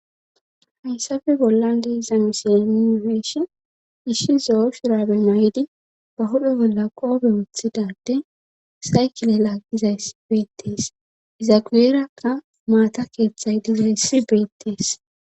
hayssafe bollan deiza misi imiireeshen ishshi zo7o shirabe may7idi ba hudho bolla qoobe wooththidade saykile laaqizayssi beettees izaguueerakka maata keeththay dizayssi beettees